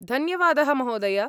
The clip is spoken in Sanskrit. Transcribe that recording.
धन्यवादः महोदय।